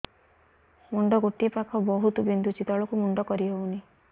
ମୁଣ୍ଡ ଗୋଟିଏ ପାଖ ବହୁତୁ ବିନ୍ଧୁଛି ତଳକୁ ମୁଣ୍ଡ କରି ହଉନି